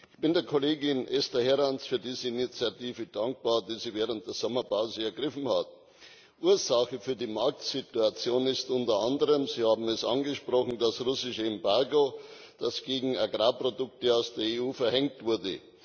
Ich bin der Kollegin Esther Herranz García für diese Initiative dankbar, die sie während der Sommerpause ergriffen hat. Ursache für die Marktsituation ist unter anderem Sie haben es angesprochen das russische Embargo, das gegen Agrarprodukte aus der EU verhängt wurde.